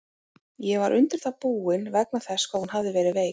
Ég var undir það búinn, vegna þess hvað hún hafði verið veik.